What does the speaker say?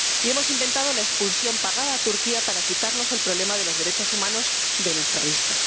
Y hemos inventado la expulsión pagada a Turquía para quitarnos el problema de los derechos humanos de nuestra vista.